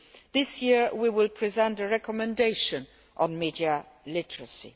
This year, it will present a recommendation on media literacy.